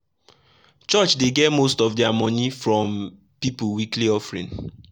church dey get most of their money from people weekly offering.